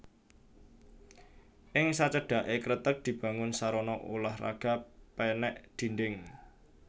Ing sacedhaké kreteg dibangun sarana ulah raga pènèk dhindhing